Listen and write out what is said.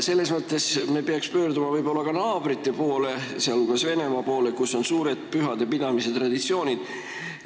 Selles mõttes me peaksime pöörduma võib-olla ka naabrite, sh Venemaa poole, kus on suured pühade pidamise traditsioonid.